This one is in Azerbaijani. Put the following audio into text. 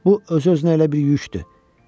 Bu öz-özünə elə bir yükdür.